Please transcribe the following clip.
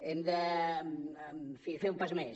hem de en fi fer un pas més